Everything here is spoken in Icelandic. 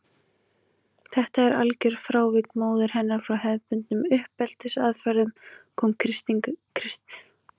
Þetta algjöra frávik móður hennar frá hefðbundnum uppeldisaðferðum kom Kristínu Evu í opna skjöldu.